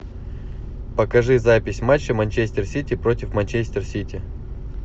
покажи запись матча манчестер сити против манчестер сити